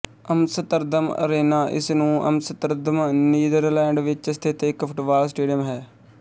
Amsterdam arena ਇਸ ਨੂੰ Amsterdam Netherland ਵਿੱਚ ਸਥਿਤ ਇੱਕ ਫੁੱਟਬਾਲ ਸਟੇਡੀਅਮ ਹੈ